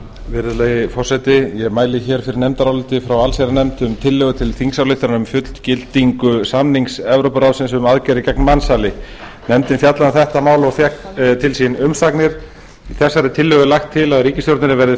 virðulegi forseti ég mæli fyrir nefndaráliti frá allsherjarnefnd um tillögu til þingsályktunar um fullgildingu samnings evrópuráðsins um aðgerðir gegn mansali nefndin fjallaði um þetta mál og fékk til sín umsagnir í tillögunni er lagt til að ríkisstjórninni verði